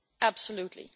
Absolutely.